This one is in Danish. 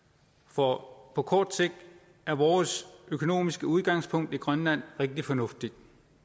for på kort sigt er vores økonomiske udgangspunkt i grønland rigtig fornuftigt